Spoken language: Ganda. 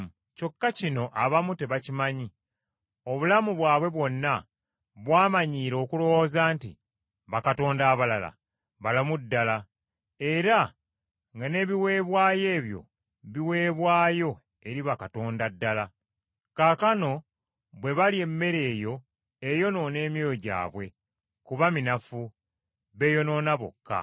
Kyokka kino abamu tebakimanyi. Obulamu bwabwe bwonna bwamanyiira okulowooza nti bakatonda abalala balamu ddala, era nga n’ebiweebwayo ebyo biweebwayo eri bakatonda ddala. Kaakano bwe balya emmere eyo eyonoona emyoyo gyabwe, kuba minafu, beeyonoona bokka.